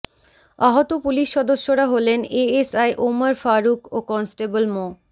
আহত পুলিশ সদস্যরা হলেন এএসআই ওমর ফারুক ও কনস্টেবল মো